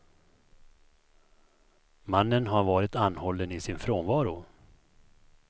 Mannen har varit anhållen i sin frånvaro.